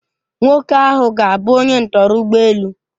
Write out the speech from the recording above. Nwoke ahụ ga-abụ onye ntọrọ ụgbọ elu.